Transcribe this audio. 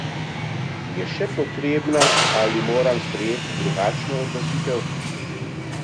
Je še potrebna ali moram sprejeti drugačno odločitev?